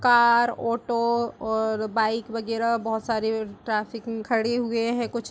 car auto ओर bike वगैरा बहुत सारे ट्राफिक में खड़े हुए हैं कुछ --